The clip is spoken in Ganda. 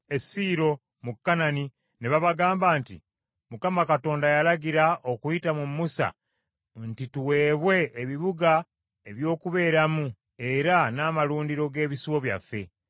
e Siiro mu Kanani ne babagamba nti, “ Mukama Katonda yalagira okuyita mu Musa nti tuweebwe ebibuga eby’okubeeramu era n’amalundiro g’ebisibo byaffe.”